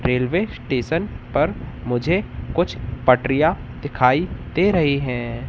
Railway station पर मुझे कुछ पटरियां दिखाई दे रही हैं।